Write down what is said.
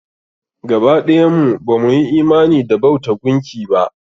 Gaba ɗayan mu ba mu yi imani da bauta gunki ba.